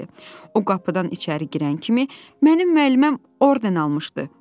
O qapıdan içəri girən kimi, "Mənim müəlliməm orden almışdı," dedi.